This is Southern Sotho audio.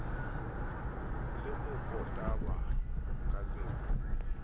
le mokotaba ka le ho